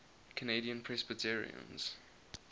canadian presbyterians